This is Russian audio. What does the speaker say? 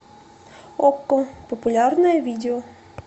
окко популярные видео